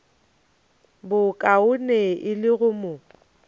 bokaone e le go mo